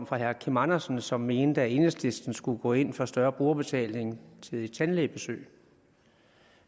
fra herre kim andersen som mente at enhedslisten skulle gå ind for større brugerbetaling til tandlægebesøg